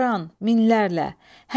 Həzəran, minlərlə.